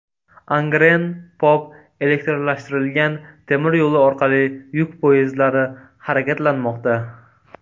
Angren-Pop elektrlashtirilgan temir yo‘li orqali yuk poyezdlari harakatlanmoqda.